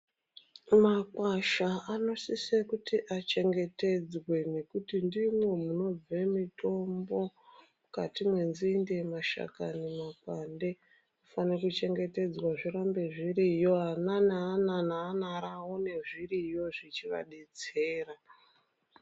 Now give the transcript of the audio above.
Makwasha anosisa kuti achengetedzwe ngekuti ndimwo munobve mitombo. Mukati mwenzinde, mashakani nemakwande zvinofana kuchengetedzwa zvirambe zviriyo ana neana neana ravo awane zviriyo zvechivadetsera.